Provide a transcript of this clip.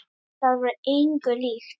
Það var engu líkt.